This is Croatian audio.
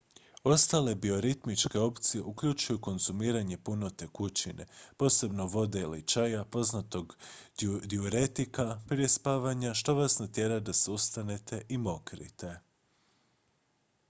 ostale bioritmičke opcije uključuju konzumiranje puno tekućine posebno vode ili čaja poznatog dijuretika prije spavanja što vas natjera da se ustanete i mokrite